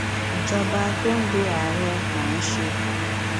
ìjọba tó ń lo ààrẹ là ń ṣe